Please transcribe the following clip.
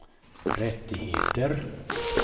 rättigheter